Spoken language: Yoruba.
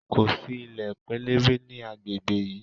Ko si ilẹ pẹlẹbẹ ni agbegbe yii.